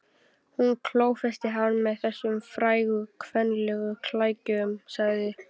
Hún klófesti hann með þessum frægu kvenlegu klækjum, sagði